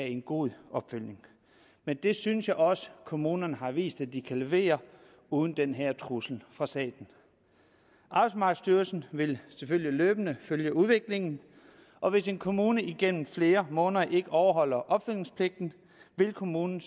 en god opfølgning det synes jeg også kommunerne har vist de kan levere uden den her trussel fra staten arbejdsmarkedsstyrelsen vil selvfølgelig løbende følge udviklingen og hvis en kommune gennem flere måneder ikke overholder opfølgningspligten vil kommunen